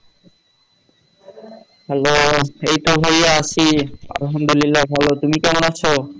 hello এইতো ভাইয়া আছি আলহামদুলিল্লাহ ভালো। তুমি কেমন আছো?